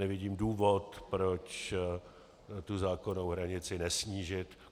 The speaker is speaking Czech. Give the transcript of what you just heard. Nevidím důvod, proč tu zákonnou hranici nesnížit.